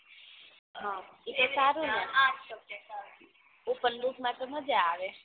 ઇ ઉપર માં તો મજા આવે